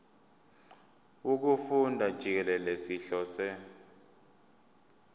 wokufunda jikelele sihlose